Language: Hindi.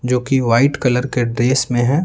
जो कि वाइट कलर के ड्रेस में है।